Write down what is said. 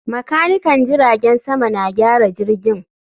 Makanikan jiragen sama na gyara jirgin